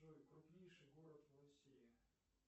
джой крупнейший город в россии